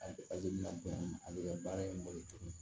A bɛ la bonya a bɛ kɛ baara in bolo tuguni